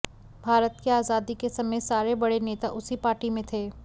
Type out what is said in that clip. भारत की आज़ादी के समय सारे बड़े नेता उसी पार्टी में थे